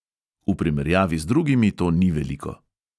V primerjavi z drugimi to ni veliko.